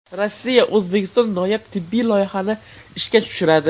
Rossiya O‘zbekistonda noyob tibbiy loyihani ishga tushiradi.